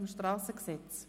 Wir gelangen zum SG.